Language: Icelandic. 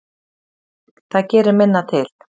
Það gerir minna til.